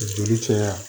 Joli caya